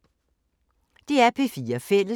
DR P4 Fælles